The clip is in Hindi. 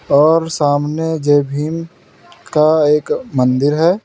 और सामने जय भीम का एक मंदिर है।